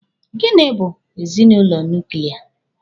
Gini bụ ezinụlọ nuklia?